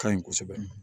Ka ɲi kosɛbɛ